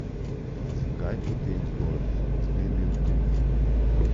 A zakaj potem zgolj zmerni optimizem?